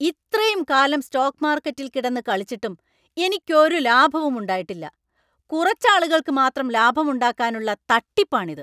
ഇത്രയും കാലം സ്റ്റോക്ക് മാർക്കറ്റിൽ കിടന്ന് കളിച്ചിട്ടും എനിക്കൊരു ലാഭവും ഉണ്ടായിട്ടില്ല; കുറച്ച് ആളുകൾക്ക് മാത്രം ലാഭം ഉണ്ടാക്കാനുള്ള തട്ടിപ്പാണിത്.